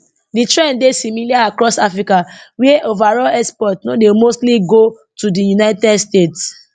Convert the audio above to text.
di trend dey similar across africa wia overall exports no dey mostly go to di united states